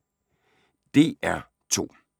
DR2